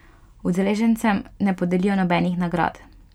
Udeležencem ne podelijo nobenih nagrad.